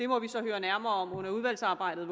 må vi så høre nærmere om under udvalgsarbejdet